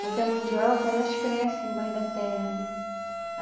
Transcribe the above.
Porque a mandioca, elas crescem embaixo da terra, né?